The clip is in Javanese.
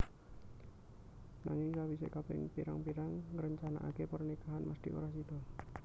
Nanging sawisé kaping pirang pirang ngrencanaké pernikahan mesthi ora sida